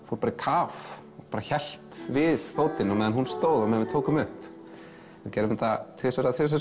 fór í kaf og hélt við fótinn á meðan hún stóð og við tókum upp við gerðum þetta tvisvar eða þrisvar